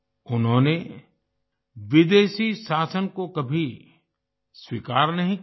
उन्होंने विदेशी शासन को कभी स्वीकार नहीं किया